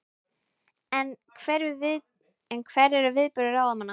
En hver eru viðbrögð ráðamanna?